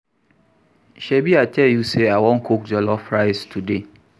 Shebi I tell you say I wan cook jollof rice today